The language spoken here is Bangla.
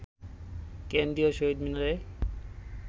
কেন্দ্রীয় শহীদ মিনারে